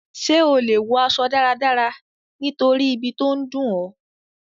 Sé o le wo aso dáradára nítorí ibi to n dùn ọ?